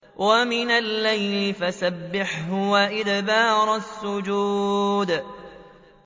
وَمِنَ اللَّيْلِ فَسَبِّحْهُ وَأَدْبَارَ السُّجُودِ